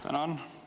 Tänan!